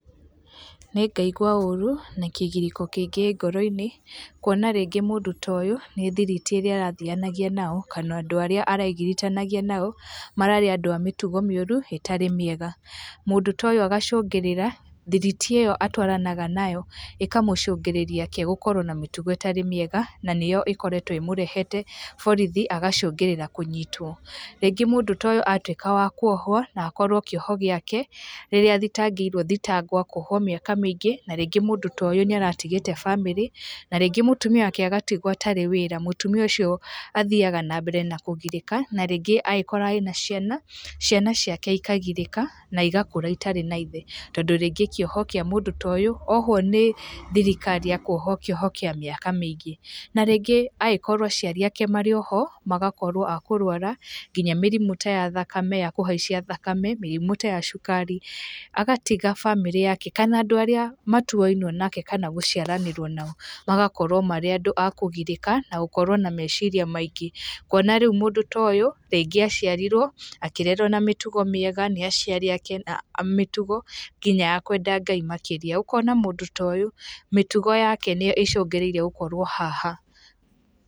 Nĩngaigua ũru na kĩgirĩko kĩingĩ ngoroinĩ kwona rĩngĩ mũndũ ta ũyũ nĩthiriti ĩrĩa arathianagia nao kana andũ arĩa aregitiganania nao mararĩ andũ amĩtugo mĩũru ĩtarĩ mĩega, mũndũ ta ũyũ agacungĩrĩra, thiriti ĩyo atwaranaga nayo ĩkamũcungĩrĩria nake agakorwo na mĩtugo ĩtarĩ mĩega na nĩyo ĩkoretwe ĩmũrehete borithi agacũngĩrĩria kũnyitwo, rĩngĩ mũndũ ta ũyũ atuĩka wa kwohwo akorwe kĩoho gĩake rĩrĩa athingĩrwe thitango akohwo mĩaka mĩingĩ na rĩngĩ mũndũ ta ũyũ nĩaratigĩte bamĩrĩ na rĩngĩ mũtumia wake agatuĩka atarĩ wĩra, mũtumia ũcio athiaga na mbere na kũgirĩka na rĩngĩ angĩkorwo arĩ na ciana, ciana ciake ikagirĩka na igakũra itarĩ na ithe, tondũ rĩngĩ kĩoho kĩa mũndũ ta ũyũ ohwo nĩ thirikari ekwohwo kĩoho kĩa míĩka mĩingĩ, na rĩngĩ angĩkorwo aciari ake marĩoho magakorwo akũrwara nginya mĩrimũ ta ya thakame ya kũhaica thakame, mĩrimũ ta ya cukari, agatiga bamĩrĩ yake kana andũ arĩa matuainwe nake kana gũciaranĩrwo nao magakorwa marĩ andũ makũgirĩka na gũkorwo na meciria maingĩ, kwona rĩu mũndũ ta ũyũ rĩngĩ aciarirwo akĩrerwo na mĩtugo mĩega, nĩaciari ake na mĩtugo nginya ya kwenda Ngai makĩrĩa, ũkona mũndũ ta ũyũ mĩtugo yake nĩyo icũngĩrĩrie gũkorwo haha.